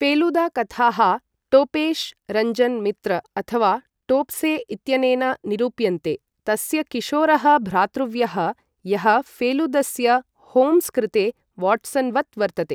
फेलुदा कथाः टोपेश् रञ्जन् मित्र अथवा टोप्से इत्यनेन निरूप्यन्ते, तस्य किशोरः भ्रातृव्यः, यः फेलुदस्य होम्स् कृते वाट्सन् वत् वर्तते।